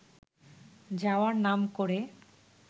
যাওয়ার নাম করে